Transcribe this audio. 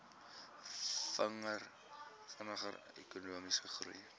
vinniger ekonomiese groei